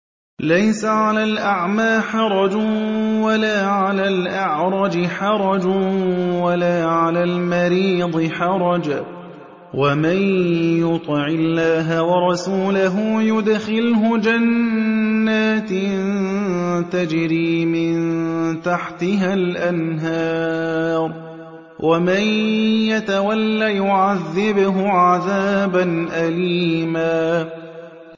لَّيْسَ عَلَى الْأَعْمَىٰ حَرَجٌ وَلَا عَلَى الْأَعْرَجِ حَرَجٌ وَلَا عَلَى الْمَرِيضِ حَرَجٌ ۗ وَمَن يُطِعِ اللَّهَ وَرَسُولَهُ يُدْخِلْهُ جَنَّاتٍ تَجْرِي مِن تَحْتِهَا الْأَنْهَارُ ۖ وَمَن يَتَوَلَّ يُعَذِّبْهُ عَذَابًا أَلِيمًا